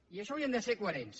i això haurien de ser coherents